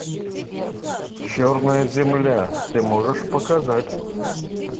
черная земля ты можешь показать